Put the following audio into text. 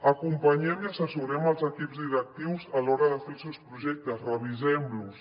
acompanyem i assessorem els equips directius a l’hora de fer els seus projectes revisem los